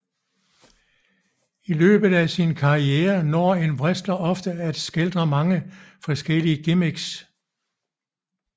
I løbet af sin karriere når en wrestler oftes at skildre mange forskellige gimmicks